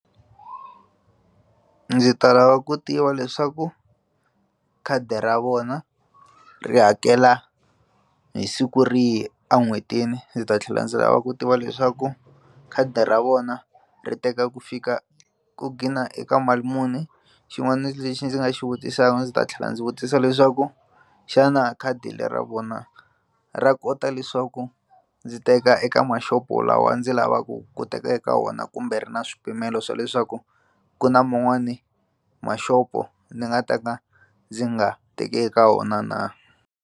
Ndzi ta lava ku tiva leswaku khadi ra vona ri hakela hi siku rihi en'hwetini ndzi ta tlhela ndzi lava ku tiva leswaku khadi ra vona ri teka ku fika ku dqina eka mali muni xin'wana lexi ndzi nga xi vutisaka ndzi ta tlhela ndzi vutisa leswaku xana khadi le ra vona ra kota leswaku ndzi teka eka mashopo lawa ndzi lava ku teka eka wona kumbe ri na swipimelo swa leswaku ku na man'wani mashopo ndzi nga ta ka ndzi nga teki eka wona na.